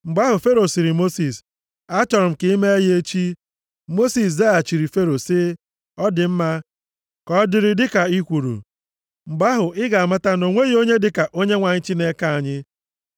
Mgbe ahụ Fero sịrị Mosis, “Achọrọ m ka i mee ya echi.” Mosis zaghachiri Fero sị, “Ọ dị mma, ka ọ dịrị dịka i kwuru. Mgbe ahụ, ị ga-amata na o nweghị onye dịka Onyenwe anyị Chineke anyị.